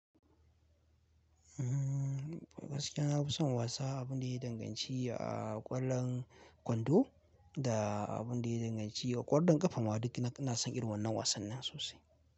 Gaskiy nafi son wasa abin da ya danganci a ƙwallon kwando da abun da ya danganci ƙwallon ƙafa ma duk ina son irin wannan wasannin sosai.